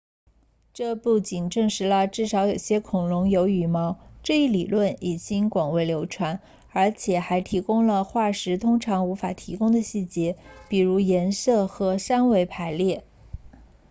这不仅证实了至少有些恐龙有羽毛这一理论已经广为流传而且还提供了化石通常无法提供的细节比如颜色和三维排列